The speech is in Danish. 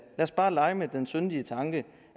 os bare lege med den syndige tanke